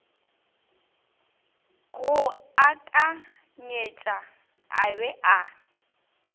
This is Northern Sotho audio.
go akanyetša a be a